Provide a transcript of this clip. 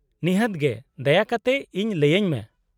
-ᱱᱤᱦᱟᱹᱛ ᱜᱮ, ᱫᱟᱭᱟ ᱠᱟᱛᱮ ᱤᱧ ᱞᱟᱹᱭᱟᱹᱧ ᱢᱮ ᱾